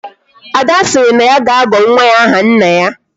Ada siri na ya ga-agọ nwa ya aha nna ya